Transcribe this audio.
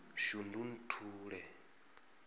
shundunthule